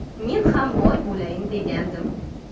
Men ham boy bo‘layin degandim”.